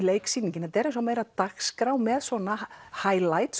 leiksýningin þetta er eins og meira dagskrá með svona